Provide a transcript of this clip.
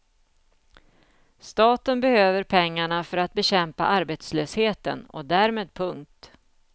Staten behöver pengarna för att bekämpa arbetslösheten och därmed punkt.